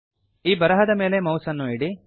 ಈ ಬರಹದ ಮೇಲೆ ಮೌಸ್ ಅನ್ನು ಇಡಿ